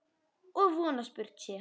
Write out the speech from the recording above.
Og von að spurt sé.